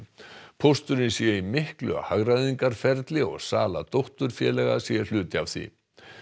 pósturinn sé í miklu hagræðingarferli og sala dótturfélaga sé hluti af því